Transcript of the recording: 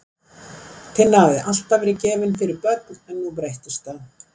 Tinna hafði alltaf verið gefin fyrir börn en nú breyttist það.